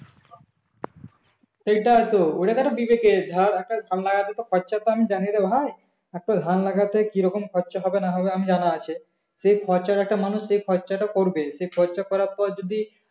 সেটাই তো ওই টাকাটা দেবে কে ধর একটা ধান লাগাতে তো খরচা আমি জানি রে ভাই একটা ধান লাগাতে কিরকম খরচা হবে না হবে আমার জানা আছে সেই খরচা টা একটা মানুষ সেই খরচা টা করবে সেই খরচা করার পর যদি